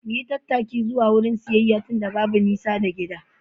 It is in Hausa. Mu yi tattaki zuwa wurin siyayya tunda babu nisa da gida.